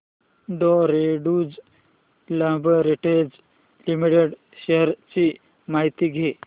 डॉ Reddy's laboratories limited shares ची माहिती द्या